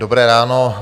Dobré ráno.